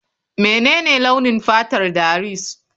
Menene launin fatar Darius?